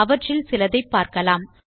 அவற்றில் சிலதை பார்க்கலாம்